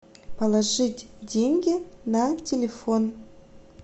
положить деньги на телефон